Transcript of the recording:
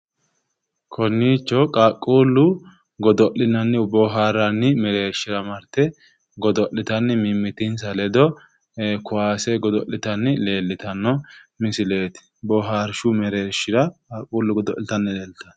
Konnicho qaaqquullu godo'linanni bohaaarranni mereershira marte godo'liatnni mimmitins aledo kowaase godo'litanna leellishshanno misileeti bohaarshu mereershira qaquullu godo'liatnnowa